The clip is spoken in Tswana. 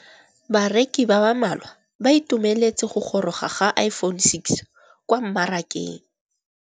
Bareki ba ba malwa ba ituemeletse go gôrôga ga Iphone6 kwa mmarakeng.